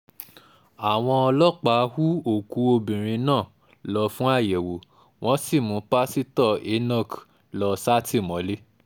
àwọn ọlọ́pàá hu òkú obìnrin náà lọ fún àyẹ̀wò wọ́n sì mú pásítọ̀ enoch lọ sátìmọ́lé